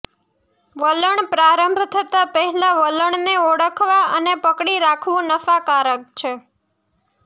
વલણ પ્રારંભ થતાં પહેલાં વલણને ઓળખવા અને પકડી રાખવું નફાકારક છે